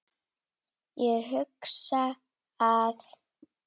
Ég hugsa að